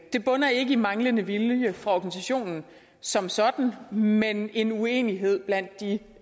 det bunder ikke i manglende vilje fra organisationen som sådan men en uenighed blandt de